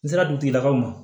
N sera dugutigilakaw ma